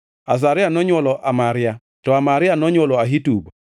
Azaria nonywolo Amaria, to Amaria nonywolo Ahitub,